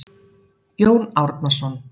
Jón Árnason.